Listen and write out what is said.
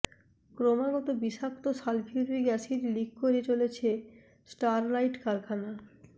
ক্রমাগত বিষাক্ত sulphuric acid leak করে চলেছে স্টারলাইট কারখানা